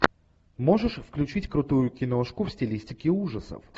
можешь включить крутую киношку в стилистике ужасов